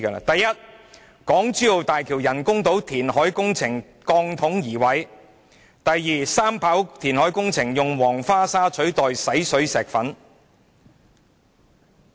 第一，港珠澳大橋人工島填海工程鋼筒移位；第二，三跑填海工程用黃花沙取代洗水石粉。